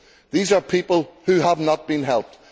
These are people who have not been helped.